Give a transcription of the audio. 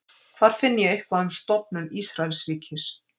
hvar finn ég eitthvað um stofnun ísraelsríkis